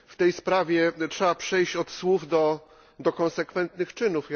W tej sprawie trzeba przejść od słów do konsekwentnych czynów.